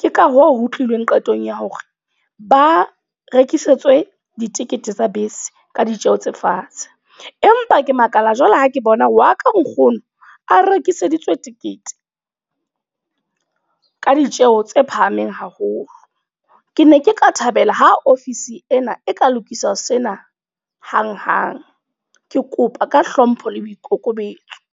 Ke ka hoo ho tlileng qetong ya hore, ba rekisetswe ditekete tsa bese ka ditjeho tse fatshe. Empa ke makala jwale ha ke bona hore wa ka nkgono, a rekiseditswe tekete ka ditjeho tse phahameng haholo. Ke ne ke ka thabela ha office ena e ka lokiswa sena hang-hang. Ke kopa ka hlompho le boikokobetso.